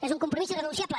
és un compromís irrenunciable